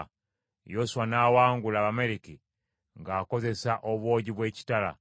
Yoswa n’awangula Abamaleki ng’akozesa obwogi bw’ekitala.